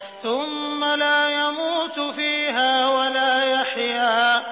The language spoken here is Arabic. ثُمَّ لَا يَمُوتُ فِيهَا وَلَا يَحْيَىٰ